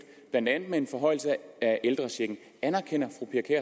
blandt andet med en forhøjelse af ældrechecken anerkender